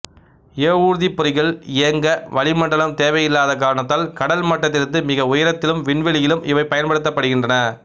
ஏவூர்திப் பொறிகள் இயங்க வளிமண்டலம் தேவையில்லாத காரணத்தால் கடல் மட்டத்திலிருந்து மிக உயரத்திலும் விண்வெளியிலும் இவை பயன்படுத்தப்படுகின்றன